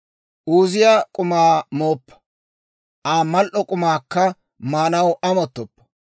Uuziyaa k'umaa mooppa; Aa mal"o k'umaakka maanaw amottoppa.